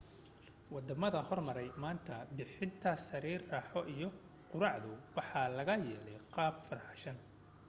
waddama horumaray maanta bixinta sariir raaxo iyo quraacdu waxaa laga yeelay qaab-farshaxan